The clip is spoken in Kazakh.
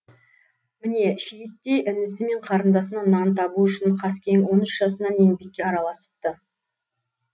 міне шиеттей інісі мен қарындасына нан табу үшін қаскең он үш жасынан еңбекке араласыпты